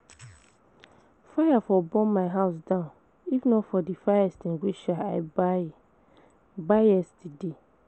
Fire for burn my house down if not for the fire extinguisher I buy buy yesterday